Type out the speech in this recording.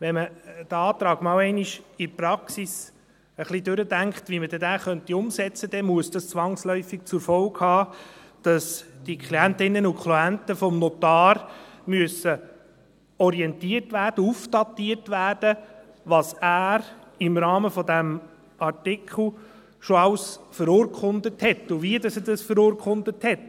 Wenn man einmal in der Praxis durchdenkt, wie man den Antrag umsetzen könnte, dann muss das zwangsläufig zur Folge haben, dass die Klientinnen und Klienten vom Notar orientiert und aufdatiert werden müssen, was er im Rahmen dieses Artikels schon alles verurkundet hat und wie er das verurkundet hat.